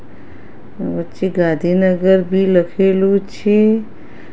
વચ્ચે ગાંધીનગર બી લખેલું છે.